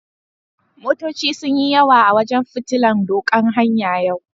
Motoci sun yi yawa a wajen fitillan doƙan hanya yau.